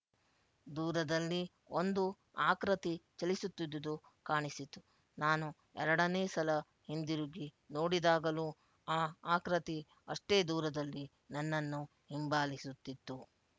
ದೂರದಲ್ಲಿ ಒಂದು ಆಕೃತಿ ಚಲಿಸುತ್ತಿದ್ದುದು ಕಾಣಿಸಿತು ನಾನು ಎರಡನೇ ಸಲ ಹಿಂದಿರುಗಿ ನೋಡಿದಾಗಲೂ ಆ ಆಕೃತಿ ಅಷ್ಟೇ ದೂರದಲ್ಲಿ ನನ್ನನ್ನು ಹಿಂಬಾಲಿಸುತ್ತಿತ್ತು